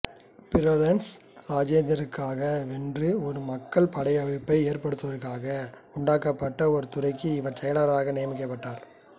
Florence ராஜ்யத்திற்காகவென்று ஒரு மக்கள் படையமைப்பை ஏற்படுத்துவதற்காக உண்டாக்கப்பட்ட ஒரு துறைக்கு இவர் செயலாளராக நியமிக்கப்பட்டார்